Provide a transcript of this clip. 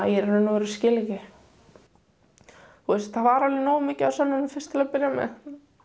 í raun og veru skil ekki það var alveg nógu mikið af sönnunum fyrst til að byrja með